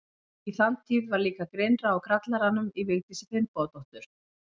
Í þann tíð var líka grynnra á grallaranum í Vigdísi Finnbogadóttur.